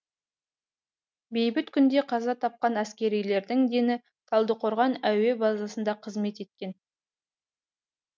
бейбіт күнде қаза тапқан әскерилердің дені талдықорған әуе базасында қызмет еткен